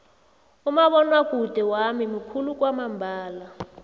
umabonwakude wami mukhulu kwamambala